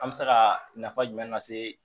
An bɛ se ka nafa jumɛn lase